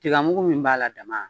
Tiga mugu min b'a la dama